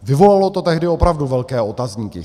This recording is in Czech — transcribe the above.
Vyvolalo to tehdy opravdu velké otazníky.